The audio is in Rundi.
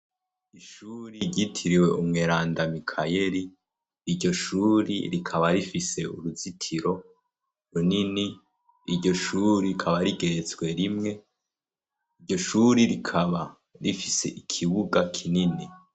ishuri ryitiriwe umweranda mikayeri iryoshuri rikaba rifise uruzitiro runini iryoshuri rikaba rigeretswe rimwe iryoshuri rikaba rifise ikibuga kinini